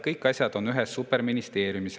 Kõik asjad oleks ühes superministeeriumis.